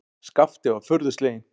Skapti var furðu sleginn.